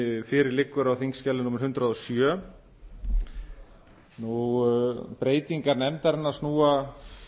fyrir liggur á þingskjali númer hundrað og sjö breytingar nefndarinnar snúa